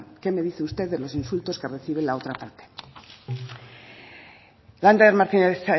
qué me dice usted de los insultos que recibe la otra parte lander martínez